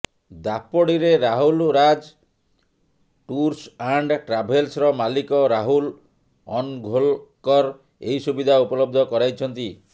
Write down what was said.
ଦାପୋଡ଼ିରେ Rahul Raj tours and ଟ୍ରାଭେଲ୍ସର ମାଲିକ ରାହୁଲ ଅନଘୋଲକର ଏହି ସୁବିଧା ଉପଲବ୍ଧ କରାଇଛନ୍ତି